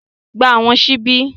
Gba Àwọn ṣíbí!